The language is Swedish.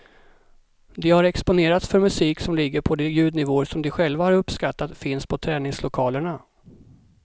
De har exponerats för musik som ligger på de ljudnivåer som de själva har uppskattat finns på träningslokalerna.